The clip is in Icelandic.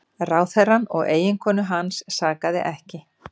Ráðherrann og eiginkonu hans sakaði ekki